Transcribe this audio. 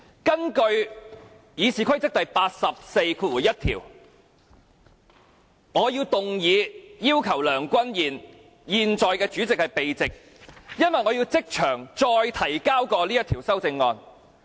根據《議事規則》第841條，我動議要求梁君彥議員——現在的主席——避席，因為我要即場再提交這項修正案。